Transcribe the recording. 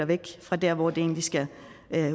væk fra der hvor det egentlig skal